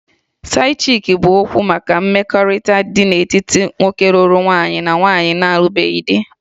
Side-chick' bụ okwu maka mmekọrịta dị n'etiti nwoke lụrụ nwaanyị na nwaanyị na-alụbeghị di